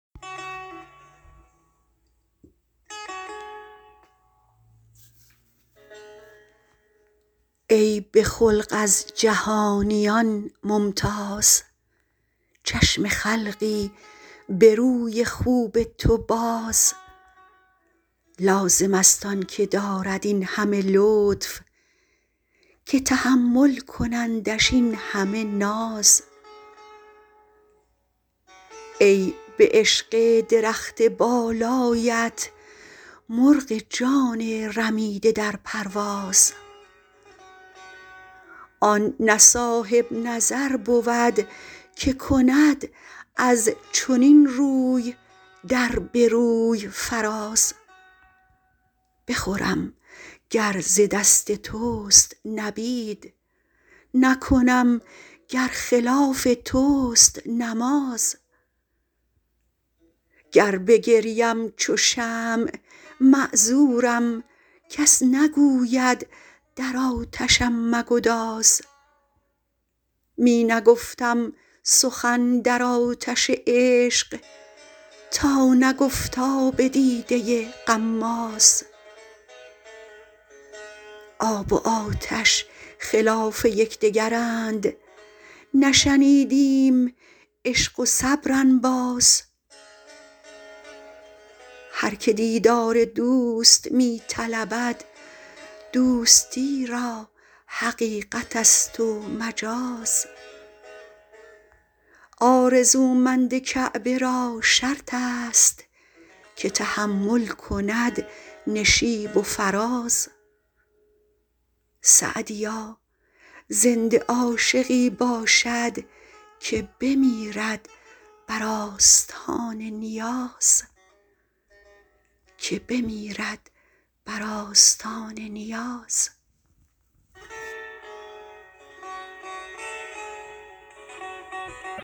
ای به خلق از جهانیان ممتاز چشم خلقی به روی خوب تو باز لازم است آن که دارد این همه لطف که تحمل کنندش این همه ناز ای به عشق درخت بالایت مرغ جان رمیده در پرواز آن نه صاحب نظر بود که کند از چنین روی در به روی فراز بخورم گر ز دست توست نبید نکنم گر خلاف توست نماز گر بگریم چو شمع معذورم کس نگوید در آتشم مگداز می نگفتم سخن در آتش عشق تا نگفت آب دیده غماز آب و آتش خلاف یک دگرند نشنیدیم عشق و صبر انباز هر که دیدار دوست می طلبد دوستی را حقیقت است و مجاز آرزومند کعبه را شرط است که تحمل کند نشیب و فراز سعدیا زنده عاشقی باشد که بمیرد بر آستان نیاز